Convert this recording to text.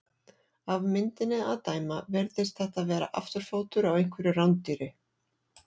Af myndinni að dæma virðist þetta vera afturfótur á einhverju rándýri.